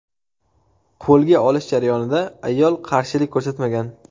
Qo‘lga olish jarayonida ayol qarshilik ko‘rsatmagan.